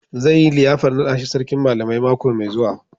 Zai yi liyafar naɗa shi Sarkin Malamai mako mai zuwa.